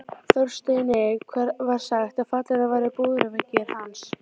Þorsteini var sagt að fallnir væri búðarveggir hans.